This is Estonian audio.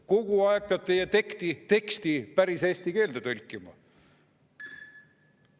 Kogu aeg peab teie teksti päris eesti keelde tõlkima.